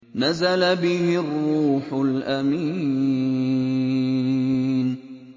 نَزَلَ بِهِ الرُّوحُ الْأَمِينُ